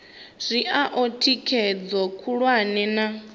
zwi oa thikhedzo khulwane na